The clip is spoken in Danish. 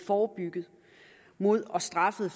forebygget mod og straffet